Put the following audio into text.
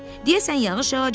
deyəsən yağış yağacaq.